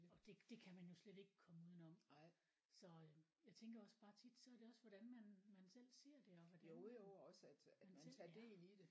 Og det det kan man jo slet ikke komme udenom så øh jeg tænker også bare tit så er det også hvordan man man selv ser det og hvordan man man selv er